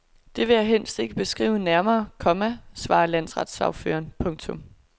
Det vil jeg helst ikke beskrive nærmere, komma svarer landsretssagføreren. punktum